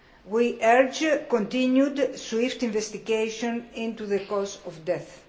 We urge continued swift investigation into the cause of death.